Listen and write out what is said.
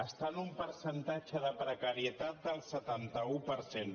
està en un percentatge de precarietat del setanta un per cent